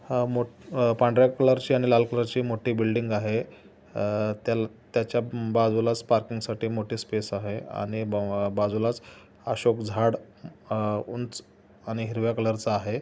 हा मोट- अह पांढर्‍या कलर ची आणि लाल कलर ची मोठी बिल्डिंग आहे. अह त्याला- त्याच्या बाजूलाच पार्किंगसाठी मोठी स्पेस आहे आणि बा- बाजूलाच अशोक झाड अ उंच आणि हिरव्या कलर च आहे.